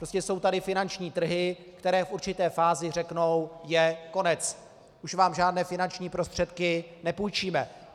Prostě jsou tady finanční trhy, které v určité fázi řeknou: je konec, už vám žádné finanční prostředky nepůjčíme.